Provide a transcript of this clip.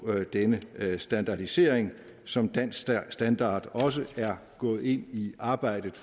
denne standardisering som dansk standard også er gået ind i arbejdet